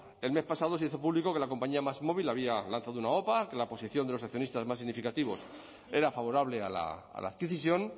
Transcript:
el mes pasado se hizo público que le compañía másmóvil había lanzado una opa que la posición de los accionistas más significativos era favorable a la adquisición